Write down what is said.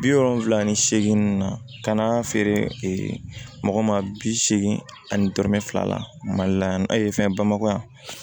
Bi wolonfila ni seegin na ka na feere mɔgɔ ma bi seegin ani dɔrɔmɛ fila la mali la yan fɛn bamakɔ yan